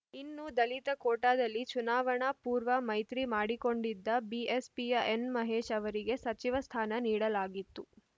ಇನ್ನು ದಲಿತ ಕೋಟಾದಲ್ಲಿ ಚುನಾವಣಾ ಪೂರ್ವ ಮೈತ್ರಿ ಮಾಡಿಕೊಂಡಿದ್ದ ಬಿಎಸ್‌ಪಿಯ ಎನ್‌ಮಹೇಶ್‌ ಅವರಿಗೆ ಸಚಿವ ಸ್ಥಾನ ನೀಡಲಾಗಿತ್ತು